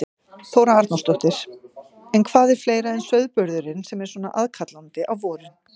Þóra Arnórsdóttir: En hvað er fleira en sauðburðurinn sem er svona aðkallandi á vorin?